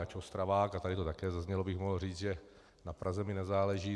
Ač Ostravák, a tady to taky zaznělo, bych mohl říct, že na Praze mi nezáleží.